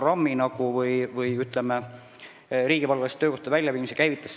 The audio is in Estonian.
Aga mis käivitas selle riigipalgaliste töökohtade väljaviimise?